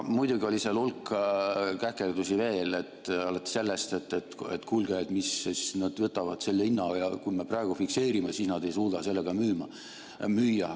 Muidugi oli seal hulk käkerdusi veel, alates sellest, et kuulge, nad võtavad selle hinna ja kui me praegu fikseerime, siis nad ei suuda sellega müüa.